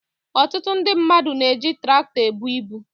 Ọtụtụ ndị mmadụ na-eji tụrọkụ ebu ibu.